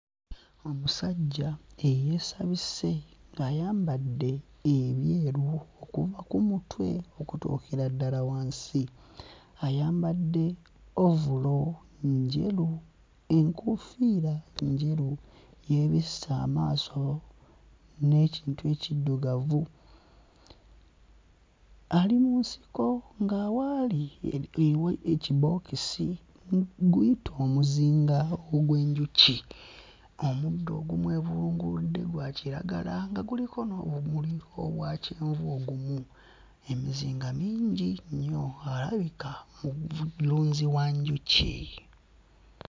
Omusajja eyasabise ng'ayambadde ebyeru okuva ku mutwe okutuukira ddala wansi, ayambadde ovulo njeru, enkoofiira njeru, yeebisse amaaso n'ekintu ekiddugavu, ali mu nsiko nga waali ee wa ekibookisi gu guyite omuzinga ogw'enjuki, omuddo ogumwevulugudde gwa kiragala nga guliko n'obumuli obwa kyenvu ogumu, emizinga mingi nnyo alabika mulunzi wa njuki